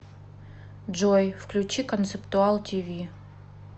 джой включи концептуал ти ви